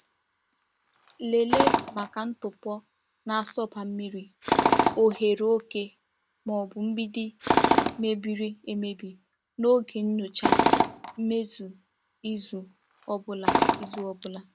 Lelee maka ntụpọ na-asọba mmiri, oghere oke, ma ọ bụ mgbidi mebiri emebi n’oge nnyocha mmezi izu ọ bụla. izu ọ bụla.